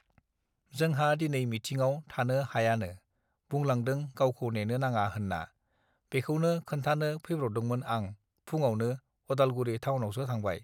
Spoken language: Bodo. जोंहा दिनै मिथिङाव थानो हायानो बुंलांदों गावखौ नेनो नाङा होन्ना बेखौनो खोन्थानो फैब्रबदोंमोन आं फुङावनो उदालगुरि थावनावसो थांबाय